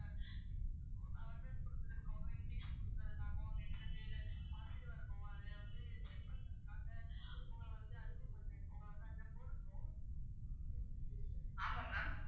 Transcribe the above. ஆமா ma'am